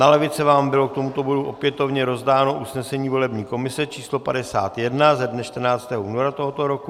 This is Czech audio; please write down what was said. Na lavice vám bylo k tomu bodu opětovně rozdáno usnesení volební komise číslo 51 ze dne 14. února tohoto roku.